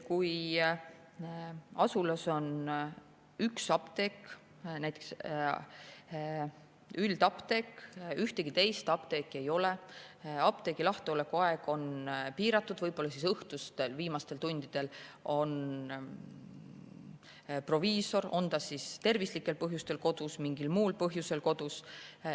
Kui asulas on üks apteek, näiteks üldapteek, ühtegi teist apteeki ei ole, apteegi lahtioleku aeg on piiratud ja võib-olla siis õhtul viimastel tundidel on proviisor tervislikel põhjustel või mingil muul põhjusel kodus.